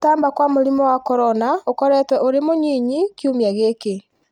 gũtamba kwamũrimũ wa corona ũkoretwo ũrĩ mũnyinyi kiumia gĩkĩ